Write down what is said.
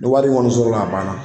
Ni wari in kɔni sɔrɔla a banna